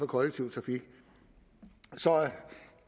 kollektive trafik så